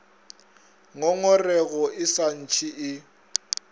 ngongorego e sa ntše e